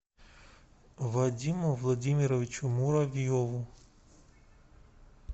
вадиму владимировичу муравьеву